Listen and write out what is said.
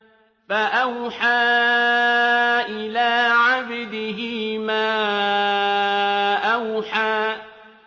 فَأَوْحَىٰ إِلَىٰ عَبْدِهِ مَا أَوْحَىٰ